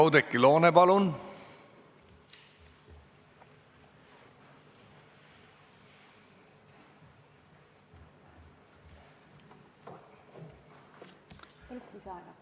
Oudekki Loone, palun!